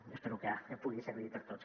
i espero que pugui servir per a tots